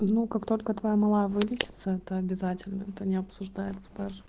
ну как только твоя малая вылечиться это обязательно это не обсуждается даже